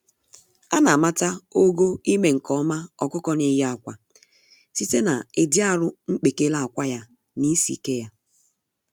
Ana amata ogo ime-nke-ọma ọkụkọ n'eyi ákwà site na ịdị arụ mkpekele ákwà, ya na isi-ike ya.